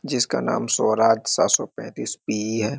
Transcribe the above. जिसका नाम स्वराज सात सौ पैतीस पी.ई. है।